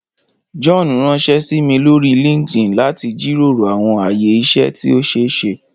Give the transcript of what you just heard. John ranṣẹ si mi lori LinkedIn lati jiroro awọn aye iṣẹ ti o ṣeeṣe.